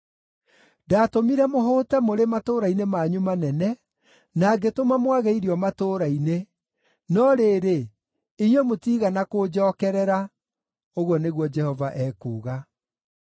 “Ndaatũmire mũhũte mũrĩ matũũra-inĩ manyu manene, na ngĩtũma mwage irio matũũra-inĩ, no rĩrĩ, inyuĩ mũtiigana kũnjookerera,” ũguo nĩguo Jehova ekuuga.